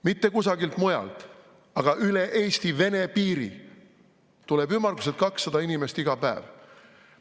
Mitte kusagilt mujalt, vaid üle Eesti-Vene piiri tuleb ümmarguselt 200 inimest iga päev.